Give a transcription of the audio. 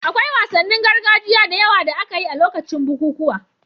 Akwai wasannin gargajiya da yawa da aka yi a lokacin bukukuwa